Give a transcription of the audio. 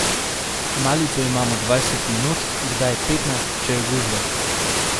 Malico imamo dvajset minut, kdaj petnajst, če je gužva.